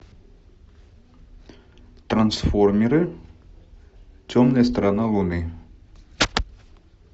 трансформеры темная сторона луны